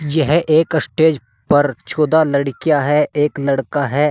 यह एक स्टेज पर चौदह लड़कियां है एक लड़का है।